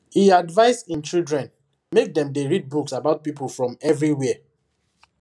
he advise him children make dem dey read books about people from everywhere